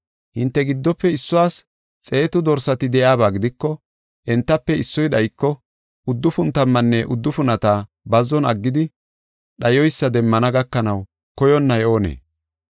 “Hinte giddofe issuwas xeetu dorsati de7iyaba gidiko entafe issoy dhayiko uddufun tammanne uddufunata bazzon aggidi dhayoysa demmana gakanaw koyonnay oonee?